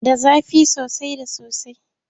Da zafi soasai da sosai.